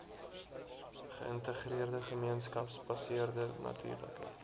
geïntegreerde gemeenskapsgebaseerde natuurlike